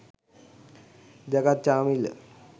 jagath chamila